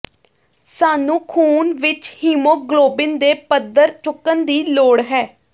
ਸਾਨੂੰ ਖੂਨ ਵਿੱਚ ਹੀਮੋਗਲੋਬਿਨ ਦੇ ਪੱਧਰ ਚੁੱਕਣ ਦੀ ਲੋੜ ਹੈ